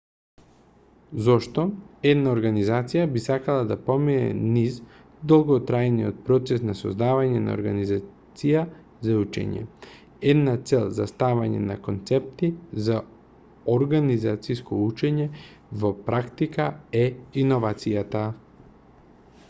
зошто една организација би сакала да помине низ долготрајниот процес на создавање организација за учење една цел за ставање на концепти за организациско учење во практика е иновацијата